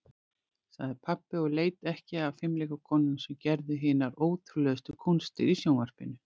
sagði pabbi og leit ekki af fimleikakonunum sem gerðu hinar ótrúlegustu kúnstir í sjónvarpinu.